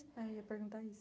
Ah eu ia perguntar isso.